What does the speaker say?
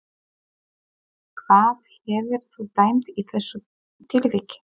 Hvað hefðir þú dæmt í þessu tilviki?